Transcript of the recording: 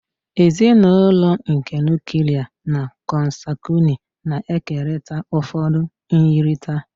Ezinụlọ nke Nuklia na consanguini na-ekerịta ụfọdụ myirịta.